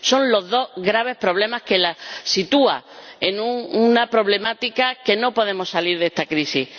Son los dos graves problemas que la sitúan en una problemática que nos impide salir de esta crisis.